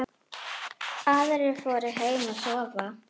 Aðrir fóru heim að sofa.